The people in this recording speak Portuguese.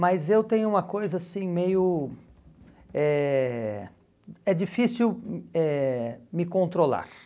Mas eu tenho uma coisa assim meio... É é difícil hum eh me controlar.